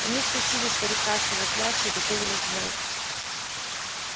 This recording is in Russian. они стащили старика с его клячи и готовились взять